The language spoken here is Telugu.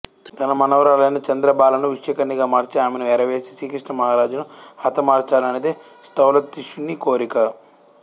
తన మనమరాలైన చంద్రబాలను విషకన్యగా మార్చి ఆమెను ఎరవేసి శ్రీకృష్ణమహారాజును హతమార్చాలనేది స్థౌలతిష్యుని కోరిక